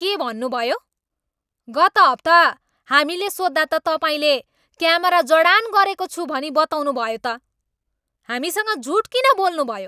के भन्नुभयो? गत हप्ता हामीले सोध्दा त तपाईँले क्यामेरा जडान गरेको छु भनी बताउनुभयो त? हामीसँग झुट किन बोल्नुभयो?